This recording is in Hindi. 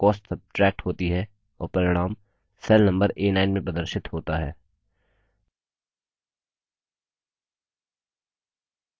हम देखते हैं कि दो cell references में cost सब्ट्रैक्ट होती है और परिणाम cell number a9 में प्रदर्शित होता है